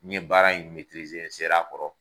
N ye baara in n sera a kɔrɔ.